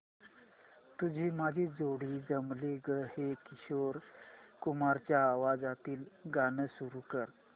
तुझी माझी जोडी जमली गं हे किशोर कुमारांच्या आवाजातील गाणं सुरू कर